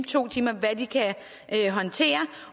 to timer eller hvad de kan håndtere